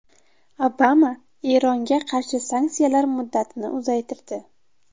Obama Eronga qarshi sanksiyalar muddatini uzaytirdi.